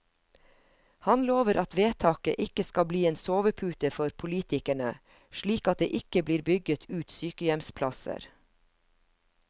Han lover at vedtaket ikke skal bli en sovepute for politikerne, slik at det ikke blir bygget ut sykehjemsplasser.